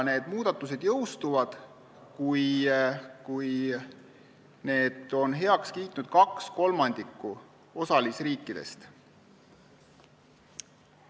Need muudatused jõustuvad, kui 2/3 osalisriikidest on need heaks kiitnud.